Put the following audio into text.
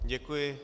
Děkuji.